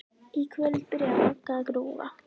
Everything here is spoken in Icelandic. Í kvöld byrjaði Magga að grúfa.